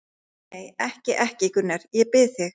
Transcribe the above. Nei, nei, ekki, ekki, Gunnar, ég bið þig.